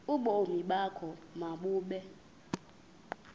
ubomi bakho mabube